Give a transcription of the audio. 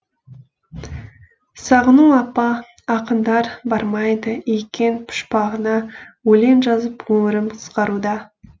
сағыну апа ақындар бармайды екен пұшпағыңа өлең жазып өмірім қысқаруда